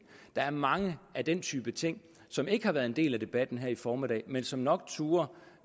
der er mange af den type ting som ikke har været en del af debatten her i formiddag men som nok turde